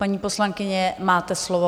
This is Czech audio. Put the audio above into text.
Paní poslankyně, máte slovo.